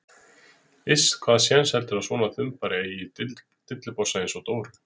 Iss, hvaða séns heldurðu að svona þumbari eigi í dillibossa einsog Dóru?